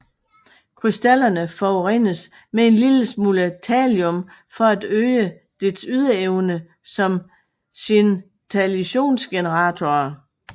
Krystallerne forurenes med en lille smule thallium for at øge deres ydeevne som scintillationsgeneratorer